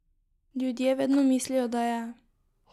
Ljudje vedno mislijo, da je.